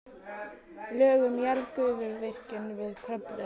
Lög um jarðgufuvirkjun við Kröflu eða